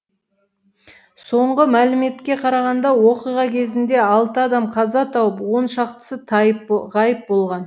соңғы мәліметке қарағанда оқиға кезінде алты адам қаза тауып он шақтысы ғайып болған